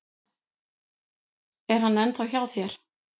Er hann ennþá hjá þér?